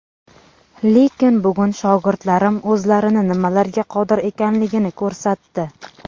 Lekin bugun shogirdlarim o‘zlarini nimalarga qodir ekanligini ko‘rsatdi.